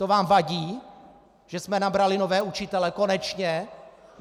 To vám vadí, že jsme nabrali nové učitele - konečně?